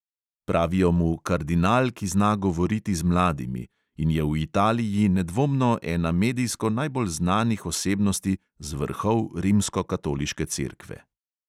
Pravijo mu kardinal, ki zna govoriti z mladimi, in je v italiji nedvomno ena medijsko najbolj znanih osebnosti z vrhov rimskokatoliške cerkve.